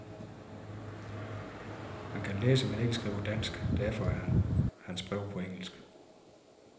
Han kan læse men ikke skrive dansk, derfor er hans brev på engelsk.